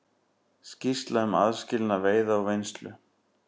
Skýrsla um aðskilnað veiða og vinnslu